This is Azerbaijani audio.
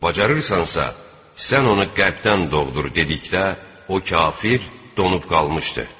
Bacarırsansa, sən onu qərbdən doğdur dedikdə, o kafir donub qalmışdı.